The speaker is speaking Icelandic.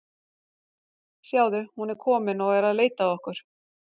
Sjáðu, hún er komin og er að leita að okkur.